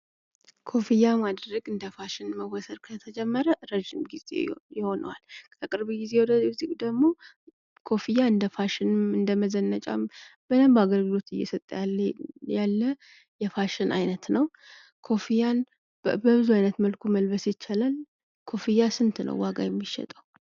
ኮፍያ ማድረግ እንደ ፋሽን ከተቆጠረ ረዥም ጊዜ ይሆነዋል። ከቅርብ ግዜ ወዲህ ደግሞ ኮፍያ እንደ መዘነጫም እንደ ፋሽንም በደንብ አገልግሎት እየሰጠ ያለ የፋሽን አይነት ነው ።ኮፍያን በብዙ አይነት መልኩ መልበስ ይችላል ።ኮፍያ ስንት ነው ዋጋው የሚሸጠው?